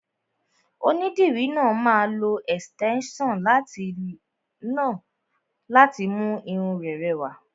Onídìrí náà máa lo ẹ̀sìtẹ́nson náà láti mú irun rẹ rẹwà.